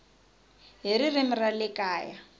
hi ririmi ra le kaya